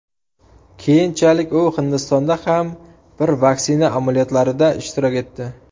Keyinchalik u Hindistonda ham bir vaksina amaliyotlarida ishtirok etdi.